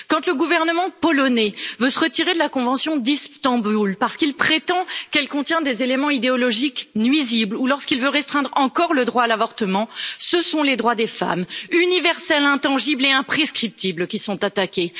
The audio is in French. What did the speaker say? Quand le gouvernement polonais veut se retirer de la convention d'Istanbul parce qu'il prétend qu'elle contient des éléments idéologiques nuisibles ou lorsqu'il veut restreindre encore le droit à l'avortement, ce sont les droits des femmes, universels, intangibles et imprescriptibles, qui sont attaqués!